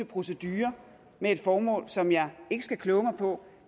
proceduredebat med et formål som jeg ikke skal kloge mig på